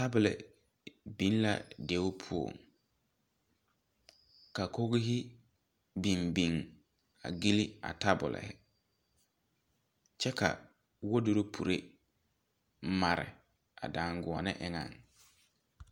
Tabol beng la deɛ pou ka koghi bing bing a gili a tabol kye ka wardropiree mari a danguoni engan.